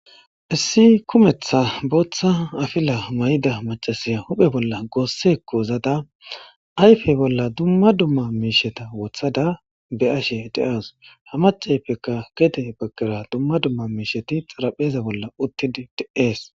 issi kumetha booththa afila mayida macasiya huphe bolla goossekko zada ayfe bolla dumma dumma miisheta wothada be ashe de'aws ha macaypeka gede baggera dumma dumma miisheti xarapheza bolla uttidi de'ees